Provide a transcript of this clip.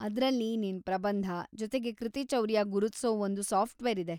ಅದ್ರಲ್ಲಿ ನಿನ್ ಪ್ರಬಂಧ, ಜೊತೆಗೆ ಕೃತಿಚೌರ್ಯ ಗುರುತ್ಸೋ‌ ಒಂದು ಸಾಫ್ಟ್‌ವೇರ್‌ ಇದೆ.